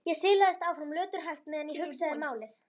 Ég silaðist áfram löturhægt meðan ég hugsaði málið.